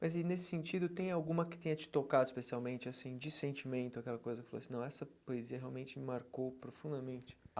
Mas aí, nesse sentido, tem alguma que tenha te tocado especialmente, assim, de sentimento, aquela coisa que você falou assim, não, essa poesia realmente me marcou profundamente a.